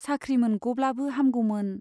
साख्रि मोनग'ब्लाबो हामगौमोन !